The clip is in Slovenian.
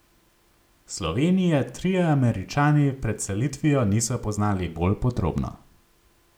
Slovenije trije Američani pred selitvijo niso poznali bolj podrobno.